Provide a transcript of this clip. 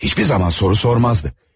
Hiçbir zaman soru sormazdı.